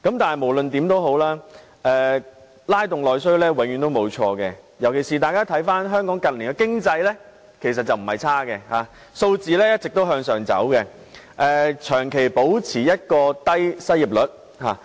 但無論如何，拉動內需永遠也不會錯，尤其是當大家看看香港近年的經濟，其實情況不壞，數字持續上升，長期保持低失業率。